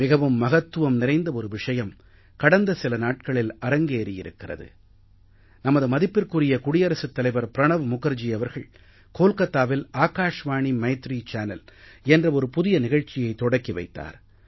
மிகவும் மகத்துவம் நிறைந்த ஒரு விஷயம் கடந்த சில நாட்களில் அரங்கேறியிருக்கிறது நமது மதிப்பிற்குரிய குடியரசுத் தலைவர் ப்ரணப் முகர்ஜி அவர்கள் கோல்காத்தாவில் ஆகாஷ்வாணி மைத்ரீ சேனல் என்ற ஒரு புதிய நிகழ்ச்சியைத் தொடக்கி வைத்தார்